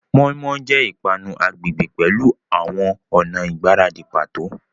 Moninmonin jẹ ipanu agbegbe pẹlu awọn ọna igbaradi pato.